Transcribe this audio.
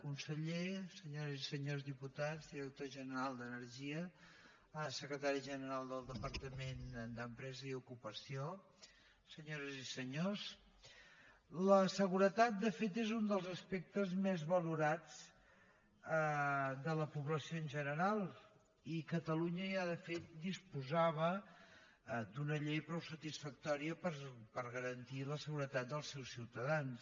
conseller senyores i senyors diputats director general d’energia secretari general del departament d’empresa i ocupació senyores i senyors la seguretat segurament és un dels aspectes més valorats de la població en general i catalunya ja de fet disposava d’una llei prou satisfactòria per garantir la seguretat dels seus ciutadans